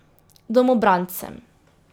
Domobrancem.